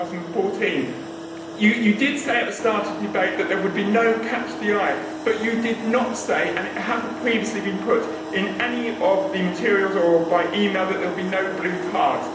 2014. You did say at the start of the debate that there would be no catch the eye, but you did not say, and it has not previously been put in any of the material or by e mail, that there would be no blue cards.